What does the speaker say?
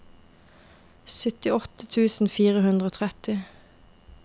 syttiåtte tusen fire hundre og tretti